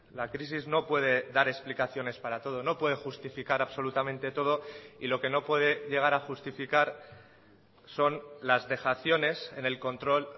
la crisis no puede dar explicaciones para todo no puede justificar absolutamente todo y lo que no puede llegar a justificar son las dejaciones en el control